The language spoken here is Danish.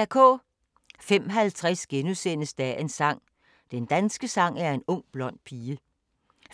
05:50: Dagens sang: Den danske sang er en ung blond pige * 05:55: